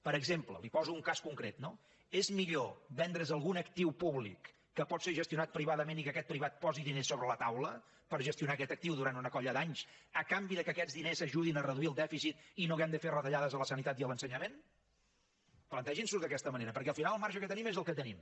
per exemple li’n poso un cas concret no és millor vendre’s algun actiu públic que pot ser gestionat privadament i que aquest pri vat posi diners sobre la taula per gestionar aquest actiu durant una colla d’anys a canvi que aquests diners ajudin a reduir el dèficit i no hàgim de fer retallades a la sanitat i a l’ensenyament plantegin s’ho d’aquesta manera perquè al final el marge que tenim és el que tenim